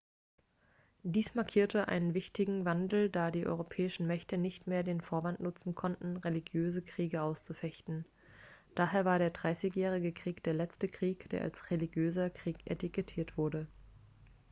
dies markierte einen wichtigen wandel da die europäischen mächte nicht mehr den vorwand nutzen konnten religiöse kriege auszufechten daher war der dreißigjährige krieg der letzte krieg der als religiöser krieg etikettiert wurde